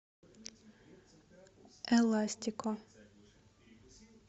эластико